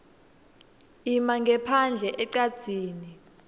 ima ngephandle ecadzini